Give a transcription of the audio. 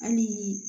Hali